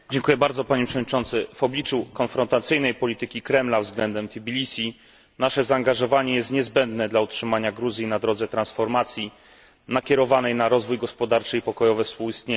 Panie Przewodniczący! W obliczu konfrontacyjnej polityki Kremla względem Tbilisi nasze zaangażowanie jest niezbędne, aby utrzymać Gruzję na drodze transformacji nakierowanej na rozwój gospodarczy i pokojowe współistnienie.